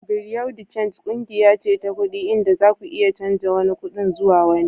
Bureau de change kungiya ce ta kudi inda zaku iya canza wani kudin zuwa wani.